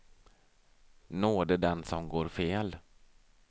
Nåde den som går fel.